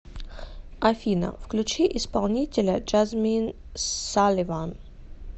афина включи исполнителя джазмин саливан